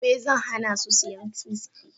Gobe ​​zan hana su siyan wiski.